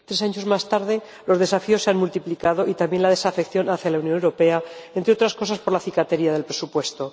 Tres años más tarde, los desafíos se han multiplicado y también la desafección hacia la Unión Europea, entre otras cosas por la cicatería del presupuesto.